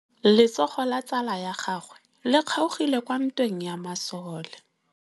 Letsôgô la tsala ya gagwe le kgaogile kwa ntweng ya masole.